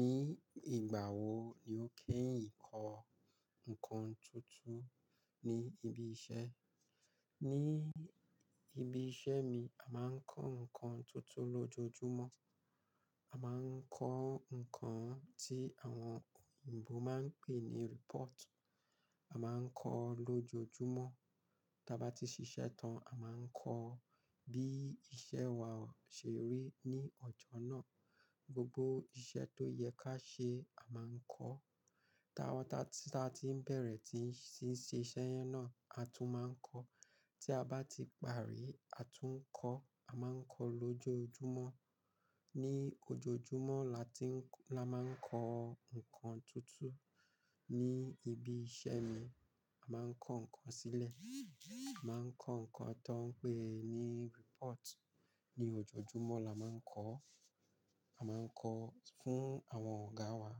Ní ìgbà wo ni o keyin kọ́ ǹkan tuntun ní ibi iṣẹ́? Ní ibi iṣẹ́ mi, a máa ń kọ́ ǹkan tuntun lójoojúmọ́. A máa ń kọ́ ǹkan tí àwọn òyìnbó máa ń pè ní report. A máa ń kọ lójoojúmọ́. Tí a bá ti ṣiṣẹ́ tán, a máa ń kọ bí iṣẹ́ wa ṣe rí ní ọjọ́ náà. Gbogbo iṣẹ́ tó yẹ ká ṣe, a máa ń kọ. Ta wa, ta ti, ta ti n bá ti bẹ̀rẹ̀ tí ń ṣe iṣẹ́ yẹn náà, a tún máa ń kọ. Tí a bá ti parí, a tún ń kọ. A máa ń kọ lójoojúmọ́. Ni ojoojúmọ́ la tí la máa ń kọ ǹkan tuntun. Ni ibi iṣẹ́ mi, a máa ń kọ́ ǹkan sílẹ̀. A máa ń kọ́ ǹkan tó ń pè ní report. Ni ojoojúmọ́ la máa ń kọ. A máa ń kọ fún àwọn ọ̀gá wa.